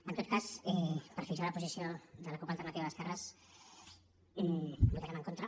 en tot cas per fixar la posició de la cup alternativa d’esquerres votarem en contra